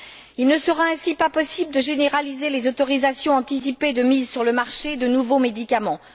Il ne sera ainsi pas possible de généraliser les autorisations anticipées de mise sur le marché de nouveaux médicaments.